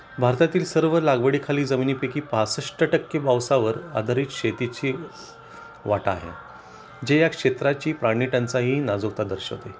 भारतातील सर्व लागवडी खाली जमिनीपैकी 65% पावसावर आधारित शेतीची वाटा आहे ज्या क्षेत्रातील पाणी टंचाई ही नाजूकता दर्शवते